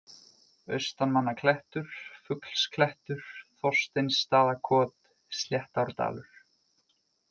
Austanmannaklettur, Fuglsklettur, Þorsteinsstaðakot, Sléttárdalur